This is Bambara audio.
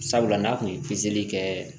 Sabula n'a kun ye pezeli kɛ